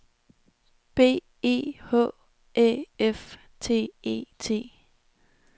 B E H Æ F T E T